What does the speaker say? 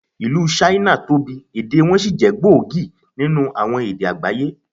Ìlú Ṣáínà tóbi, èdè wọn sì jẹ́ gbòógì nínú àwọn èdè àgbáyé.